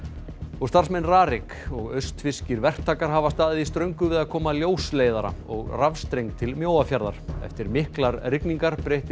starfsmenn RARIK og verktakar hafa staðið í ströngu við að koma ljósleiðara og rafstreng til Mjóafjarðar eftir miklar rigningar breyttist